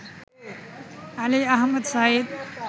Ali Ahmad Saeed